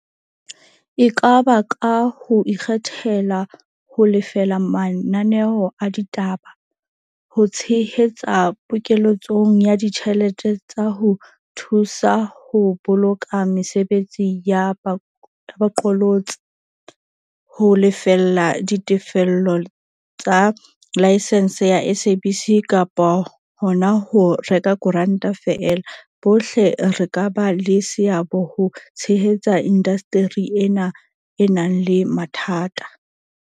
E ka ba ka ho ikgethela ho lefela mananeo a ditaba, ho tshehetsa pokele tsong ya ditjhelete tsa ho thu sa ho boloka mesebetsi ya bo qolotsi, ho lefella ditefello tsa laesense ya SABC kapa hona ho reka koranta feela, bohle re ka ba le seabo ho tshehetsa indasteri ena e nang le mathata.